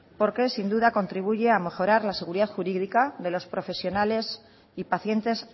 porque sin duda contribuye a mejorar la seguridad jurídica de los profesionales y pacientes